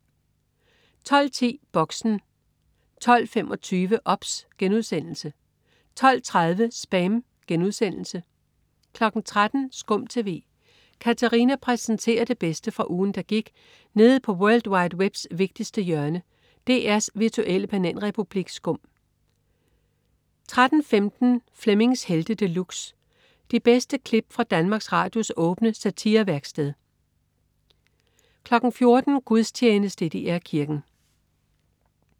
12.10 Boxen 12.25 OBS* 12.30 SPAM* 13.00 SKUM TV. Katarina præsenterer det bedste fra ugen, der gik nede på world wide webs vigtigste hjørne, DR's virtuelle bananrepublik SKUM 13.15 Flemmings Helte De Luxe. De bedste klip fra Danmarks Radios åbne satirevæksted 14.00 Gudstjeneste i DR Kirken